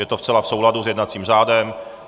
Je to zcela v souladu s jednacím řádem.